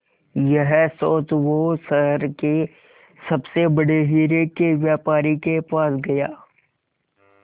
यह सोच वो शहर के सबसे बड़े हीरे के व्यापारी के पास गया